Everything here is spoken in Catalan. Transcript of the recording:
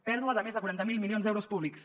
pèrdua de més de quaranta miler milions d’euros públics